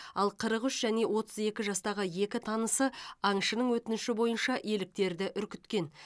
ал қырық үш және отыз екі жастағы екі танысы аңшының өтініші бойынша еліктерді үркіткен